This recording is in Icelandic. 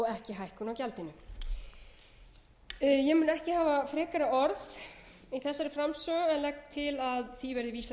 ekki hækkun á gjaldinu ég mun ekki hafa frekari orð í þessari framsögu en legg til að frumvarpinu verði vísað